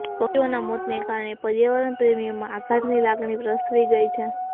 પક્ષીઓના મોતને કારણે પર્યાવરણપ્રેમીઓમાં આઘાતની લાગણી પ્રસરી ગઇ છે